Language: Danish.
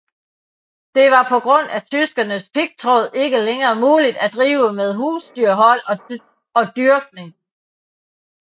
Det var på grund af tyskernes pigtråd ikke længere muligt at drive med husdyrhold og dyrkning